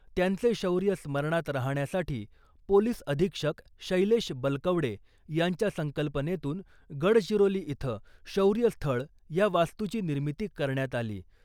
त्यांचे शौर्य स्मरणात राहण्यासाठी पोलिस अधीक्षक शैलेश बलकवडे यांच्या संकल्पनेतून गडचिरोली इथं शौर्य स्थळ या वास्तूची निर्मिती करण्यात आली .